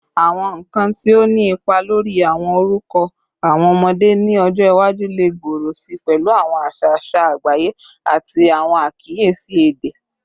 Awọn nkan ti o ni ipa lori awọn orukọ awọn ọmọde ni ọjọ iwaju le gbooro si pẹlu awọn aṣa aṣa agbaye ati awọn akiyesi ede